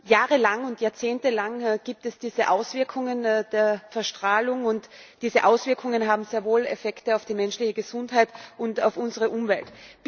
Jahrelang und jahrzehntelang gibt es diese Auswirkungen der Verstrahlung, und diese Auswirkungen haben sehr wohl Effekte auf die menschliche Gesundheit und auf unsere Umwelt.